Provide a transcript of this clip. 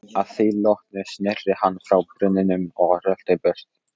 Að því loknu sneri hann frá brunninum og rölti burt.